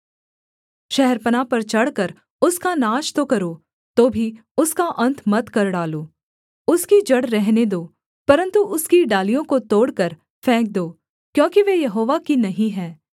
शहरपनाह पर चढ़कर उसका नाश तो करो तो भी उसका अन्त मत कर डालो उसकी जड़ रहने दो परन्तु उसकी डालियों को तोड़कर फेंक दो क्योंकि वे यहोवा की नहीं हैं